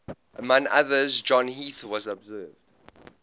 among others john heath has observed